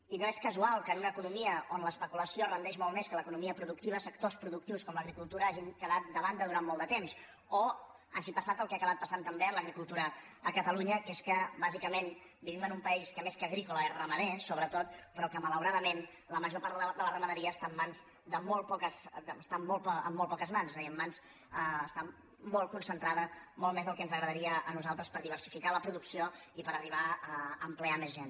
i no és casual que en una economia on l’especulació rendeix molt més que l’economia productiva sectors productius com l’agricultura hagin quedat de banda durant molt de temps o que hagi passat el que ha aca·bat passant també amb l’agricultura a catalunya que és que bàsicament vivim en un país que més que agrí·cola és ramader sobretot però que malauradament la major part de la ramaderia està en molt poques mans és a dir està molt concentrada molt més del que ens agradaria a nosaltres per diversificar la produc·ció i per arribar a ocupar més gent